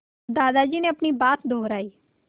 दादाजी ने अपनी बात दोहराई